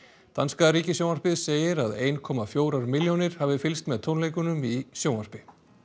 danska ríkissjónvarpið segir að ein komma fjórar milljónir hafi fylgst með tónleikunum í sjónvarpi